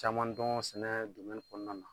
Caman don sɛnɛ kɔnɔna na.